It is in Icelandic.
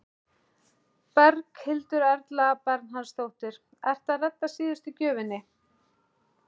Berghildur Erla Bernharðsdóttir: Ertu að redda síðustu gjöfinni?